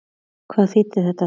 Hvað þýddi þetta þá?